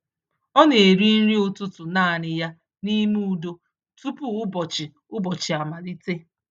Ọ na-eri nri ụtụtụ naanị ya n’ime udo tupu ụbọchị ụbọchị amalite.